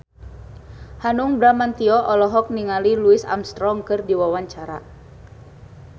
Hanung Bramantyo olohok ningali Louis Armstrong keur diwawancara